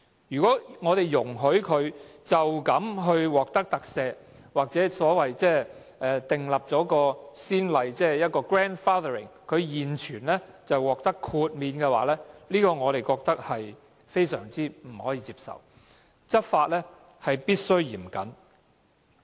如果我們容許違規龕場獲得特赦，或訂立不溯既往的先例，讓現有的龕場獲得豁免，我們覺得這做法不能接受，執法必須嚴謹。